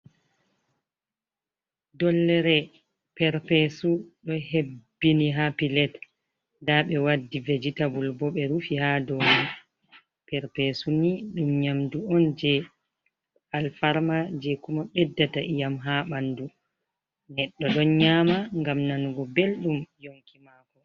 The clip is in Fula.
Dollere perpesu ɗo hebbini haa pilet, nda ɓe waddi vegetabul bo ɓe rufi haa dow mai. Perpesu ni ɗum nƴamdu on jee alfarma, jee kuma ɓeddata iyam haa ɓandu. Neɗɗo ɗon nƴama ngam nanugo belɗum yonki maako.